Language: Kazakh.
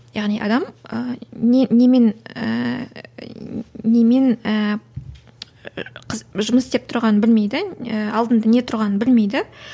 яғни адам і не немен ііі немен ііі жұмыс істеп тұрғанын білмейді ііі алдында не тұрғанын білмейді